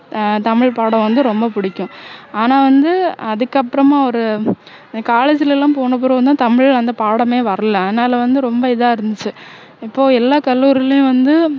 ஆஹ் தமிழ் பாடம் வந்து ரொம்ப புடிக்கும் ஆனா வந்து அதுக்கு அப்பறமா ஒரு college ல எல்லாம் போன பிறகும் தான் தமிழ் அந்த பாடமே வரல அதனால வந்து ரொம்ப இதா இருந்துச்சு இப்போ எல்லா கல்லூரிலயும் வந்து